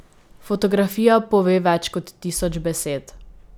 Fotografija pove več kot tisoč besed.